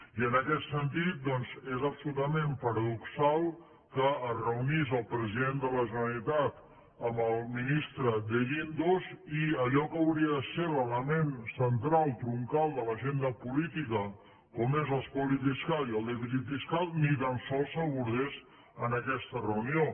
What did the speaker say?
i en aquest sentit doncs és absolutament paradoxal que es reunís el president de la generalitat amb el ministre de guindos i allò que hauria de ser l’element central troncal de l’agenda política com són l’espoli fiscal i el dèficit fiscal ni tan sols s’abordés en aquesta reunió